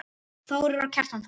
Þórir og Kjartan Þór.